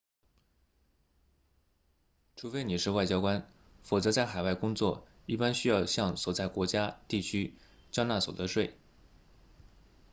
除非你是外交官否则在海外工作一般需要向所在国家地区缴纳所得税